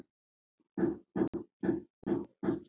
Segðu mér annars.